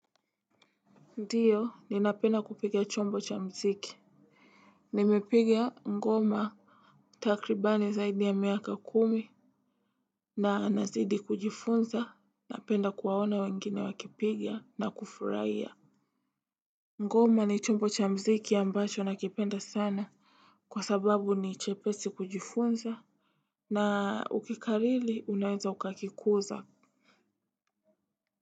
Ndiyo ninapenda kupiga chombo cha mziki. Nimepiga ngoma. Takribani zaidi ya miaka kumi. Na nazidi kujifunza napenda kuwaona wengine wakipiga na kufurahia. Ngoma ni chombo cha mziki ambacho nakipenda sana. Kwa sababu ni chepesi kujifunza. Na ukikariri unaweza ukakikuza.